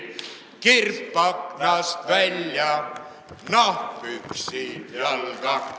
Kirp aknast välja, nahkpüksid jalga!